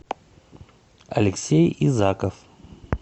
алексей изаков